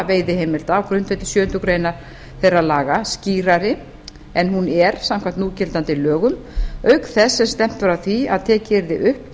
veiðiheimilda á grundvelli sjöundu greinar þeirra laga skýrari en hún er samkvæmt núgildandi lögum auk þess sem stefnt var að því að tekið yrði upp